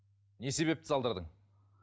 не себепті салдырдың